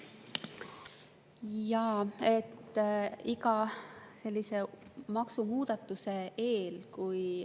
Jaa, iga sellise maksumuudatuse eel …